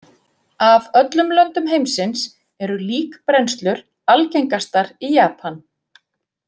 Af öllum löndum heimsins eru líkbrennslur algengastar í Japan.